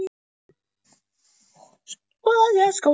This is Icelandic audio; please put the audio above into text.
Alltaf það sama og í sömu röð.